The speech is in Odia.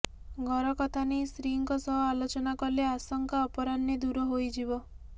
ଘର କଥାନେଇ ସ୍ତ୍ରୀଙ୍କ ସହ ଆଲୋଚନା କଲେ ଆଶଙ୍କା ଅପରାହ୍ନେ ଦୂର ହୋଇଯିବ